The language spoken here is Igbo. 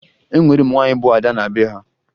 E nwere ụmụ nwaanyị bụ ada na be ha